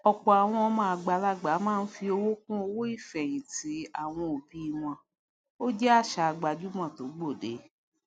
òpò àwọn ọmọ àgbàlàgbà máá fi owó kún owó ìfèhìntì àwọn òbí wọn ó jé àsà gbajúmò tó gbòde